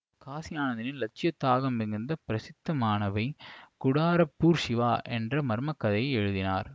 காசி ஆனந்தனின் இலட்சியத் தாகம் மிகுந்த பிரசித்தமானவை குடாரப்பூர் சிவா என்ற மர்ம கதையை எழுதினார்